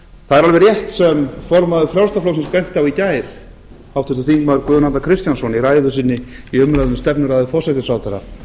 það er alveg rétt sem formaður frjálslynda flokksins benti á í gær háttvirtir þingmenn guðjón arnar kristjánsson í ræðu sinni í umræðu um stefnuræðu forsætisráðherra